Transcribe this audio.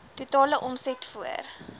totale omset voor